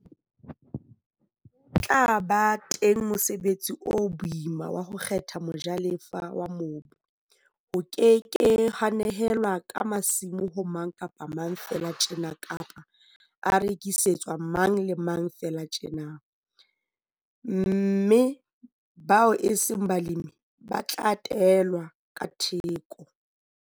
Ho tla ba teng mosebetsi o boima wa ho kgetha mojalefa a mobu. Ho ke ke ha nehelanwa ka masimo ho mang kapa mang feela tjena kapa a rekisetswa mang le mang feela tjena, mme bao eseng balemi ba tla teelwa ka theko.